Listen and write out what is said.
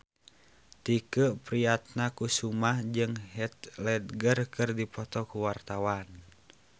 Tike Priatnakusuma jeung Heath Ledger keur dipoto ku wartawan